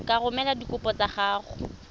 ka romela dikopo tsa gago